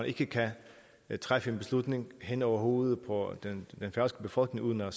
ikke kan træffe en beslutning hen over hovedet på den færøske befolkning uden at